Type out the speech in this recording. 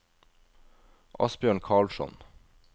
Asbjørn Karlsson